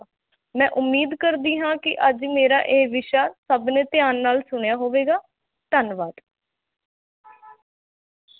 ਮੈਂ ਉਮੀਦ ਕਰਦੀ ਹਾਂ ਕਿ ਅੱਜ ਮੇਰਾ ਇਹ ਵਿਸ਼ਾ ਸਭ ਨੇ ਧਿਆਨ ਨਾਲ ਸੁਣਿਆ ਹੋਵੇਗਾ, ਧੰਨਵਾਦ।